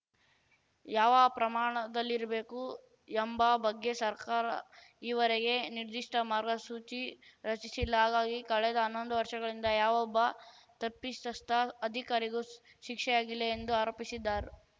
ಯಾವ ಪ್ರಮಾಣದಲ್ಲಿರಬೇಕು ಎಂಬ ಬಗ್ಗೆ ಸರ್ಕಾರ ಈವರೆಗೆ ನಿರ್ದಿಷ್ಟಮಾರ್ಗಸೂಚಿ ರಚಿಸಿಲ್ಲ ಹಾಗಾಗಿ ಕಳೆದ ಅನ್ನೊಂದು ವರ್ಷಗಳಿಂದ ಯಾವೊಬ್ಬ ತಪ್ಪಿಸಸ್ಥ ಅಧಿಕಾರಿಗೂ ಶಿಕ್ಷೆಯಾಗಿಲ್ಲ ಎಂದು ಆರೋಪಿಸಿದ್ದರ್